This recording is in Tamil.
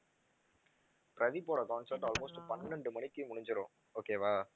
பிரதீப் ஓட concert almost பன்னிரெண்டு மணிக்கு முடிஞ்சிடும் okay வா